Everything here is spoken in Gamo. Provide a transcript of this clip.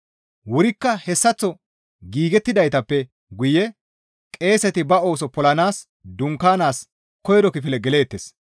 Wurikka hessaththo giigettidaappe guye qeeseti ba ooso polanaas dunkaanaas koyro kifile geleettes.